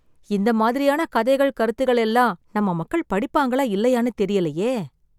இந்த மாதிரியான கதைகள் கருத்துகள் எல்லாம் நம்ம மக்கள் படிப்பாங்களா இல்லையான்னு தெரியலையே!